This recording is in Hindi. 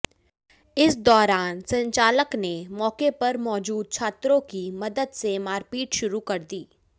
इस दौरान संचालक ने मौके पर मौजूद छात्रों की मदद से मारपीट शुरू कर दी